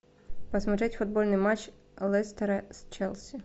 посмотреть футбольный матч лестера с челси